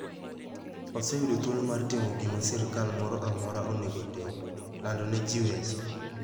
Waseyudo thuolo mar timo gima sirkal moro amora onego otim: lando ne ji weche.